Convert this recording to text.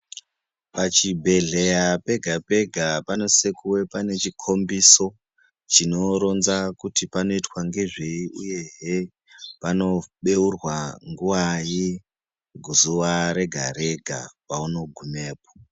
Pachibhedhleya pega-pega panosisa kuva pane chikhombiso chinoronza kuti panoitwa ngezvei uyehe panobeurwa nguwai zuwa rega- rega paunogumepo.